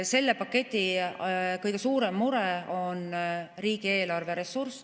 Selle paketi kõige suurem mure on riigieelarve ressurss.